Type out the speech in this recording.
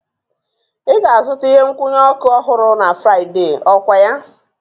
Ị ga-azụta ihe nkwụnye oku ọhụrụ na Fraịde, okwaya?